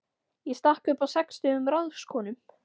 Ég stakk upp á sextugum ráðskonum.